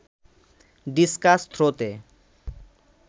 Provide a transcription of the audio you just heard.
discuss থ্রোতে